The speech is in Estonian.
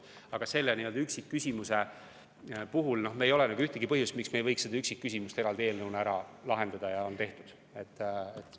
Aga selle üksikküsimuse puhul ei ole ühtegi põhjust, miks me ei võiks seda eraldi eelnõuna ära lahendada, ja asi on tehtud.